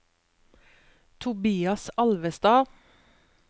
Tobias Alvestad